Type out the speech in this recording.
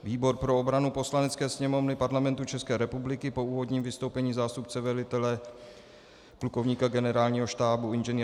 Výbor pro obranu Poslanecké sněmovny Parlamentu České republiky po úvodním vystoupení zástupce velitele plukovníka generálního štábu Ing.